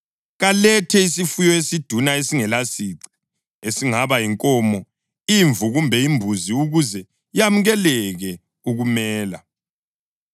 kalethe isifuyo esiduna esingelasici, esingaba yinkomo, imvu kumbe imbuzi ukuze yamukeleke ukumela.